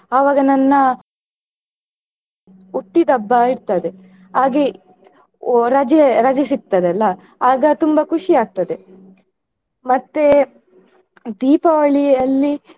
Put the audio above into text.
ಅವಾಗ ನನ್ನ ಹುಟ್ಟಿದ ಹಬ್ಬ ಇರ್ತದೆ ಹಾಗೆ ರಜೆ ರಜೆ ಸಿಗ್ತದಲ್ಲ ಆಗ ತುಂಬಾ ಖುಷಿ ಆಗ್ತದೆ ಮತ್ತೆ ದೀಪಾವಳಿಯಲ್ಲಿ.